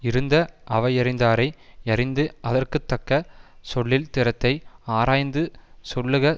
இருந்த அவை யறிந்தாரை யறிந்து அதற்கு தக்க சொல்லின் திறத்தை ஆராய்ந்து சொல்லுக